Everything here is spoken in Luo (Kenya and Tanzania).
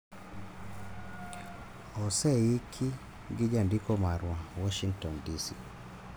Oseiki gi jandiko marwa, Washington DC.